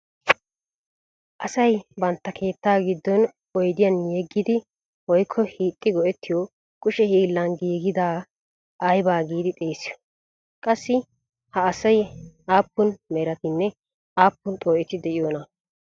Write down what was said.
Asay bantta keettaa giddon oydiyan yeggidi woykko hiixxidi go'ettiyo kushe hiillan giigidaaga ayba giidi xeessiyo? Qassi ha assi aapun meratinne aappun xoo'eti de'iyonaa?